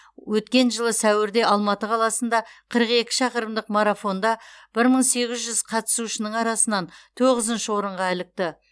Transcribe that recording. өткен жылы сәуірде алматы қаласында қырық екі шақырымдық марафонда бір мың сегіз жүз қатысушының арасынан тоғызыншы орынға ілікті